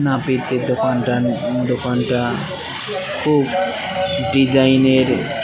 নাপিতের দোকানটা নতুন দোকানটা খুব ডিজাইনের।